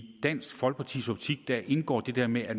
dansk folkepartis optik indgår det der med at